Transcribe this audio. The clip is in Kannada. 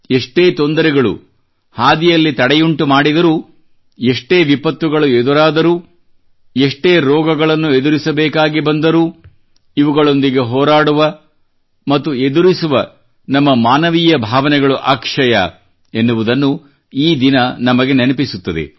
ಎಷ್ಟೇ ತೊಂದರೆಗಳು ಹಾದಿಯಲ್ಲಿ ತಡೆಯುಂಟುಮಾಡಿದರೂ ಎಷ್ಟೇ ವಿಪತ್ತುಗಳು ಎದುರಾದರೂ ಎಷ್ಟೇ ರೋಗಗಳನ್ನು ಎದುರಿಸಬೇಕಾಗಿ ಬಂದರೂ ಇವುಗಳೊಂದಿಗೆ ಹೋರಾಡುವ ಮತ್ತುಎದುರಿಸುವ ನಮ್ಮ ಮಾನವೀಯ ಭಾವನೆಗಳು ಅಕ್ಷಯ ಎನ್ನುವುದನ್ನು ಈ ದಿನ ನಮಗೆ ನೆನಪಿಸುತ್ತದೆ